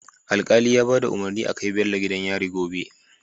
Alkali ya bada umarni a kai Bello gidan yari gobe